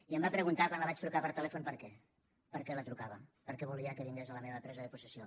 i em va preguntar quan la vaig trucar per telèfon per què per què la trucava per què volia que vingués a la meva presa de possessió